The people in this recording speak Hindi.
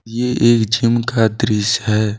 यह एक जिम का दृश्य है।